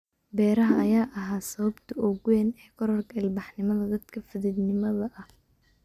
Beeraha ayaa ahaa sababta ugu weyn ee kororka ilbaxnimada dadka fadhiidnimada ah